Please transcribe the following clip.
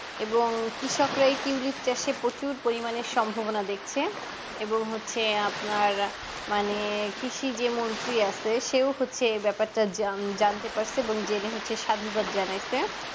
এবং কৃষকরা এই tulip চাষ এ প্রচুর পরিমানে সম্ভবনা দেখছে এবং হচ্ছে আপনার মানে কৃষি যে মন্ত্রী আছে সেই হচ্ছে এই ব্যাপারটা যান জানতে পারছে এবং জেনে হচ্ছে সাদুবাত জানাইছে